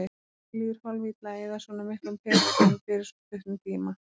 Mér líður hálf-illa að eyða svona miklum peningum fyrir svo stuttan tíma.